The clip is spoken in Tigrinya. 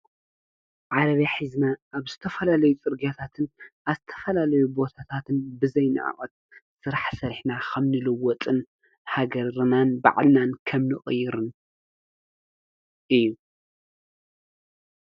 ዓረብያ ሒዝና አብ ዝተፈላለዩ ፅርግያታትን አብ ዝተፈላለዩ ቦታታትን ብዘይ ንዕቀት ስራሕ ሰሪሕና ከም ንልወጥን ሃገርናን ባዕልና ከምንቅይርን እዩ፡፡